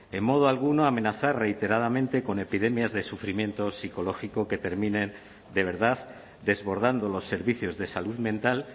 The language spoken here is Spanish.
en modo alguno amenazar reiteradamente con epidemias de sufrimiento psicológico que terminen de verdad desbordando los servicios de salud mental